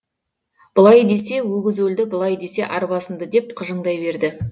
былай десе өгіз өлді былай десе арба сынды деп қыжыңдай берді